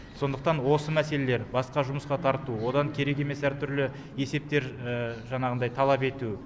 сондықтан осы мәселелер басқа жұмысқа тарту одан керек емес әртүрлі есептер жаңағындай талап ету